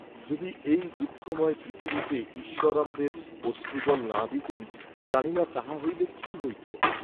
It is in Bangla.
যদি এই দুঃখময় পৃথিবীতে ঈশ্বর আমাদের অশ্রুজল না দিতেন, জানিনা তাহা হইলে কি হইত।